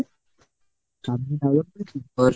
কর